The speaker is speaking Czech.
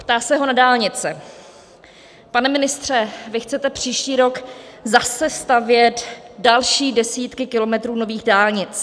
Ptá se ho na dálnice: "Pane ministře, vy chcete příští rok zase stavět další desítky kilometrů nových dálnic.